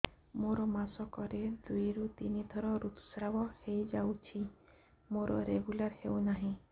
ମୋର ମାସ କ ରେ ଦୁଇ ରୁ ତିନି ଥର ଋତୁଶ୍ରାବ ହେଇଯାଉଛି ମୋର ରେଗୁଲାର ହେଉନାହିଁ